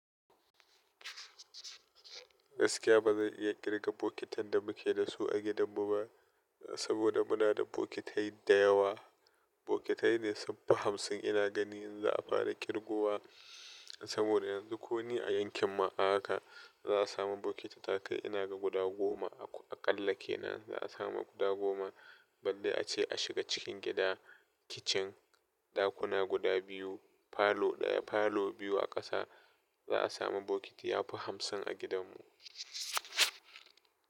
Gaskiya ba zan iya kirga bokitai da muke da su a gidanmu ba saboda muna da bokitai da yawa. Bokitai ne sun fi hamsin ina gani in za'a fara kirga wa saboda yanzu ko ni a yankinma haka za a samu bokiti sun kai. Ina ga guda goma aƙalla kenan za a samu guda goma, balle ace a shiga cikin gida, dakin girki, ɗakuna guda biyu, falo ɗaya, falo biyu a ƙasa za a samu bokiti yafi hamsin a gidanmu.